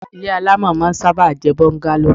Ile alamọ máa ń sábà ń jẹ bungalow